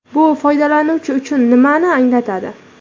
Bu foydalanuvchi uchun nimani anglatadi?